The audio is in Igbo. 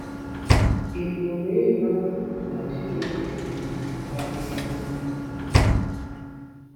Ị̀ pụrụ ịhụ na ‘Chineke nọ n’etiti ha n’ezie’?